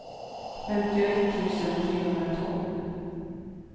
femtioett tusen trehundratolv